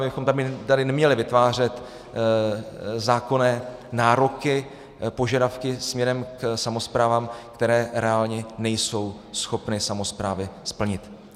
My bychom tady neměli vytvářet zákonné nároky, požadavky směrem k samosprávám, které reálně nejsou schopny samosprávy splnit.